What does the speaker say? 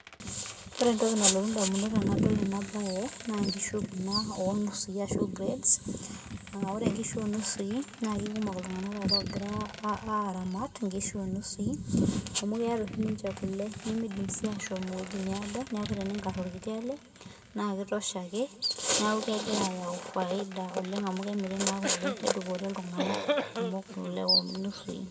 Ore entoki nalotu indamunot tenadol enabae, na nkishu kuna onusui ashu breads, ah ore nkishu onusui, na kekumok iltung'anak taata ogira aramat inkishu onusui, amu keeta oshi ninche kule, nimidim si ashom ewueji needo, neeku teningar orkiti ale, na ki tosha ake neeku kegira ayau faida oleng amu kemiri naa kule nedupore iltung'anak kumok kule onusui.